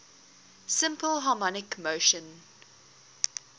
simple harmonic motion